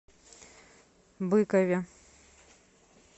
быкове